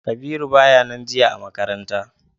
Kabiru baya nan jiya a makaranta.